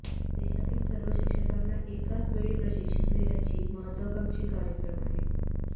देशातील सर्व शिक्षकांना एकाच वेळेस प्रशिक्षण देण्याची महत्त्वाकांक्षी कार्यक्रम आहे